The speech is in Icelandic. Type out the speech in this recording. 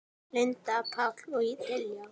Linda, Páll og Diljá.